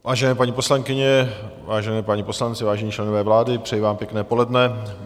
Vážené paní poslankyně, vážení páni poslanci, vážení členové vlády, přeji vám pěkné poledne.